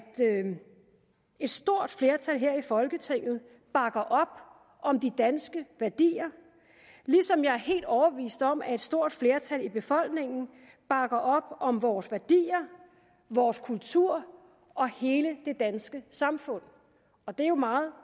et stort flertal her i folketinget bakker op om de danske værdier ligesom jeg er helt overbevist om at et stort flertal i befolkningen bakker op om vores værdier vores kultur og hele det danske samfund og det er jo meget